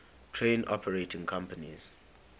train operating companies